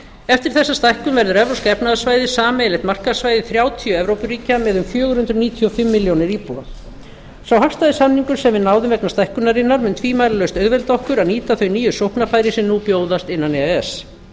eftir þessa stækkun verður evrópska efnahagssvæðið sameiginlegt markaðssvæði þrjátíu evrópuríkja með um fjögur hundruð níutíu og fimm milljónir íbúa sá hagstæði samningur sem við náðum vegna stækkunarinnar mun tvímælalaust auðvelda okkur að nýta þau nýju sóknarfæri sem nú bjóðast innan e e s